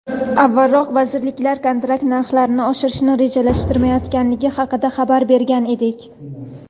Avvalroq vazirlik kontrakt narxlarini oshirishni rejalashtirmayotgani haqida xabar bergan edik.